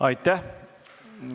Aitäh!